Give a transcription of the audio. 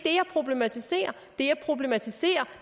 problematiserer det jeg problematiserer